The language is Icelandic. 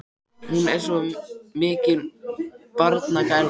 Hún er nú svo mikil barnagæla.